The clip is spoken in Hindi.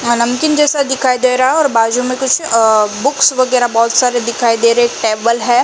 नमकीन जैसा दिखाई दे रहा है और बाजू में कुछ अ बुक्स वगेरा बहोत सारे दिखाई दे रहे हैं। एक टेबल है। --